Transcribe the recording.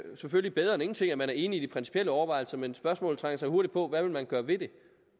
selvfølgelig bedre end ingenting at man er enig i de principielle overvejelser men spørgsmålet trænger sig hurtigt på hvad vil man gøre ved det